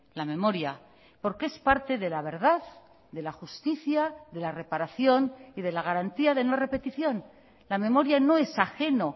la memoria porque es parte de la verdad de la justicia de la reparación y de la garantía de no repetición la memoria no es ajeno